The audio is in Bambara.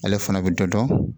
Ale fana bɛ dɔ dɔn